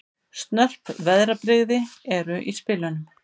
Snörp veðrabrigði eru í spilunum